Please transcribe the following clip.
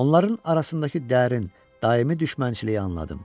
Onların arasındakı dərin, daimi düşmənçiliyi anladım.